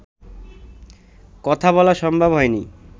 কথা বলা সম্ভব হয়নি